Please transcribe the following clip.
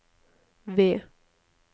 V